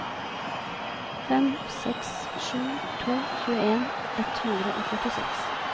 fem seks sju to tjueen ett hundre og førtiseks